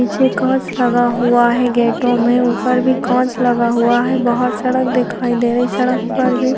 नीचे कोर्स लगा हुआ है गेटों में ऊपर भी कोर्स लगा हुआ है बाहर सड़क दिखाई दे रही है बाहर सड़क पर भी--